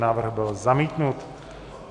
Návrh byl zamítnut.